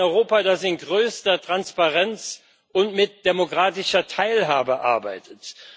Ein Europa, das in größter Transparenz und mit demokratischer Teilhabe arbeitet.